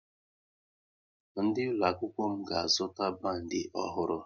Ndị ụlọ akwụkwọ m ga-azụta bandi ọhụrụ